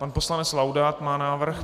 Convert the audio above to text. Pan poslanec Laudát má návrh.